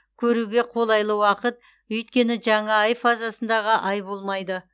көруге қолайлы уақыт өйткені жаңа ай фазасындағы ай болмайды